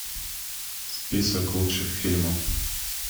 список лучших фильмов